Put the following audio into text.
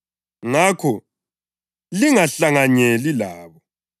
Ngakho lingahlanganyeli labo.